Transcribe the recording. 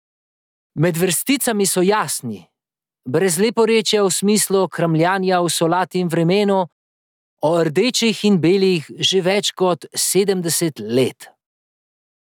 Med vrsticami so jasni, brez leporečja v smislu kramljanja o solati in vremenu, o rdečih in belih že več kot sedemdeset let.